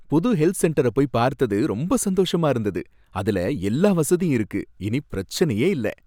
புது ஹெல்த் சென்டர போய் பார்த்தது ரொம்ப சந்தோஷமா இருந்தது, அதுல எல்லா வசதியும் இருக்கு, இனி பிரச்சனையே இல்ல